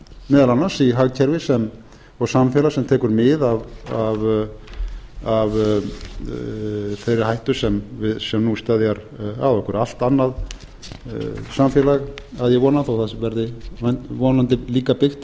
meðal annars hagkerfi og samfélag sem tekur mið af þeirri hættu sem nú steðjar að okkur allt annað samfélag að ég vona þó það verði vonandi líka byggt